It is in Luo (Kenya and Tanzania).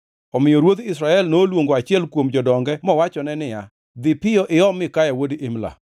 Omiyo ruodh Israel noluongo achiel kuom jodonge mowachone niya, “Dhi piyo iom Mikaya wuod Imla.”